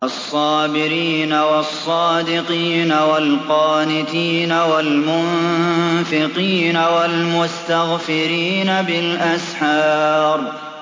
الصَّابِرِينَ وَالصَّادِقِينَ وَالْقَانِتِينَ وَالْمُنفِقِينَ وَالْمُسْتَغْفِرِينَ بِالْأَسْحَارِ